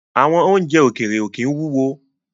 Àwọn oúnjẹ ókéré ó kín wúwo